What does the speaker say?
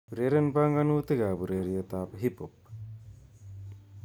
Ureren banganuyik ab ureretab Hiphop